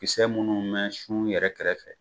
Kisɛ munnu mɛn su yɛrɛ kɛrɛfɛ